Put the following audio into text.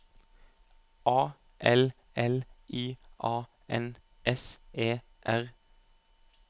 A L L I A N S E R